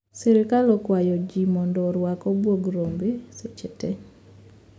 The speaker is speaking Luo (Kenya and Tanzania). Sirkal okwayo ji mondo orwak abuogrombe seche tee